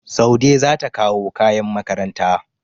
Saude za ta kawo kayan makaranta.